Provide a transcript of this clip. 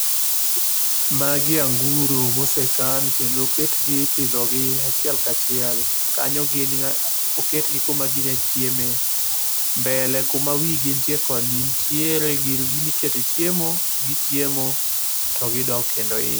Magi anguro mosekan kendo oketgi ipidhogi achiel ka chiel. Kanyo gin ga oketgi kuma ginya chieme. Mbele kuma wigi nitie koni nitiere gi gima ikete chiemo, gichiemo to gidok kendo iye.